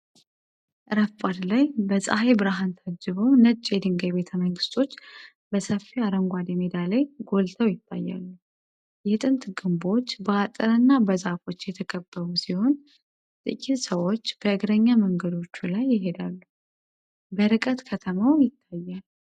ረፋድ ላይ፣ በፀሐይ ብርሃን ታጅበው፣ ነጭ የድንጋይ ቤተመንግስቶች በሰፊ አረንጓዴ ሜዳ ላይ ጎልተው ይታያሉ። የጥንት ግንቦች በአጥርና በዛፎች የተከበቡ ሲሆን፣ ጥቂት ሰዎች በእግረኛ መንገዶቹ ላይ ይሄዳሉ። በርቀት ከተማው ይታያል።